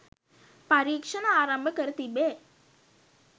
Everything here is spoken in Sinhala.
පරීක්ෂණ ආරම්භ කර තිබේ